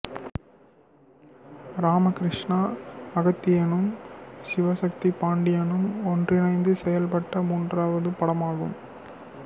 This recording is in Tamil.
ராமகிருஷ்ணா அகத்தியனும் சிவசக்தி பாண்டியனும் ஒன்றிணைந்து செயல்பட்ட மூன்றாவது படமாகும்